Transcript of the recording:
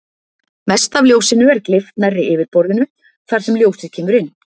Mest af ljósinu er gleypt nærri yfirborðinu þar sem ljósið kemur inn.